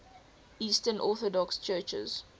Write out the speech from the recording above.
eastern orthodox churches